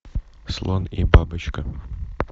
слон и бабочка